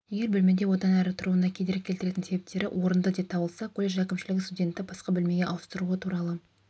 егер бөлмеде одан әрі тұруына кедергі келтіретін себептері орынды деп табылса колледж әкімшілігі студентті басқа бөлмеге ауыстыру туралы